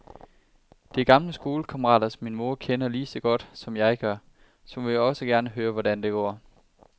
Det er gamle skolekammerater, som min mor kender lige så godt, som jeg gør, så hun vil jo også gerne høre, hvordan det går.